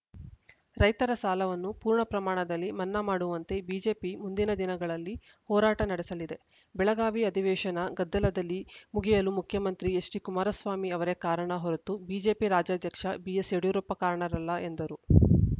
ರೈತರ ಸಾಲವನ್ನು ಪೂರ್ಣಪ್ರಮಾಣದಲ್ಲಿ ಮನ್ನಾ ಮಾಡುವಂತೆ ಬಿಜೆಪಿ ಮುಂದಿನ ದಿನಗಳಲ್ಲಿ ಹೋರಾಟ ನಡೆಸಲಿದೆ ಬೆಳಗಾವಿ ಅಧಿವೇಶನ ಗದ್ದಲದಲ್ಲಿ ಮುಗಿಯಲು ಮುಖ್ಯಮಂತ್ರಿ ಎಚ್‌ಡಿಕುಮಾರಸ್ವಾಮಿ ಅವರೇ ಕಾರಣ ಹೊರತು ಬಿಜೆಪಿ ರಾಜ್ಯಾಧ್ಯಕ್ಷ ಬಿಎಸ್‌ಯಡಿಯೂರಪ್ಪ ಕಾರಣರಲ್ಲ ಎಂದರು